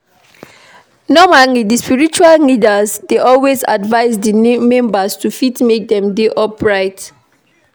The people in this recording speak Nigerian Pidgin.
Normally di spiritual leaders dey always advise di member to fit make dem dey upright